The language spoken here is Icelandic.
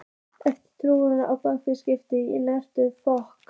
Eftir útliti er bakteríum skipt í eftirfarandi flokka